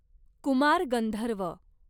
Kumar Gandharva